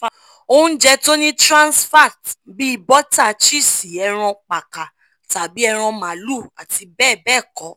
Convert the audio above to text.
ounjẹ tó ni transfat bíi bọ́tà chísì ẹran pákà tàbí ẹran máàlúù àti bẹ́ẹ̀ bẹ́ẹ̀ kọ